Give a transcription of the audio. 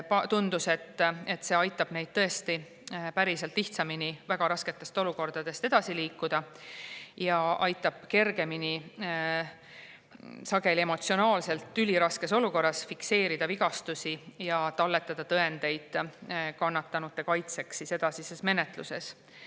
Tundus, et see aitab neil päriselt väga rasketest olukordadest lihtsamini edasi liikuda ja sageli aitab emotsionaalselt üliraskes olukorras kergemini fikseerida vigastusi ja talletada tõendeid kannatanute kaitseks edasises menetluses.